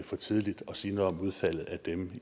for tidligt at sige noget om udfaldet af dem